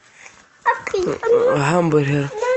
гамбургер